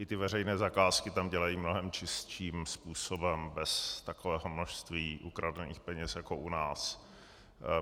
I ty veřejné zakázky tam dělají mnohem čistším způsobem bez takového množství ukradených peněz jako u nás.